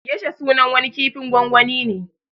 Gesha sunan wani kifin gwangwani ne